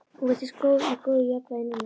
Hún virtist í góðu jafnvægi núna.